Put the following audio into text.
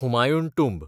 Humayun टुंब